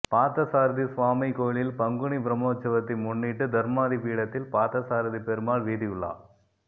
பார்த்தசாரதி சுவாமி கோயிலில் பங்குனி பிரம்மோற்சவத்தை முன்னிட்டு தர்மாதிபீடத்தில் பார்த்தசாரதி பெருமாள் வீதியுலா